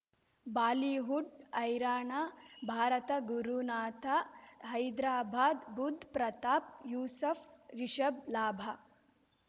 Bollywood Haryana Bharat Gurunath Hyderabad Budh Pratap Yusuf Rishabh ಲಾಭ